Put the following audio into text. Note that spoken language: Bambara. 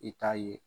I t'a ye